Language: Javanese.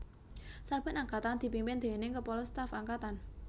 Saben Angkatan dipimpin déning Kepala Staf Angkatan